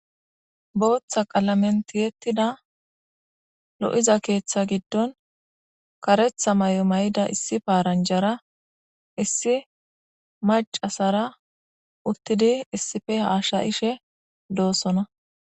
Botha qalamen tiyetida lo, iza ketha gidon karetha mayo mayida issi paranjara issi Mac,a asara hasayishe de,osona